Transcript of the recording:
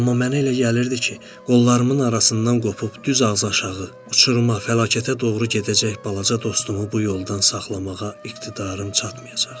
Amma mənə elə gəlirdi ki, qollarımın arasından qopub düz ağzaşağı, uçuruma, fəlakətə doğru gedəcək balaca dostumu bu yoldan saxlamağa iqtidarım çatmayacaq.